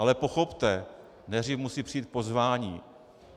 Ale pochopte, nejdřív musí přijít pozvání.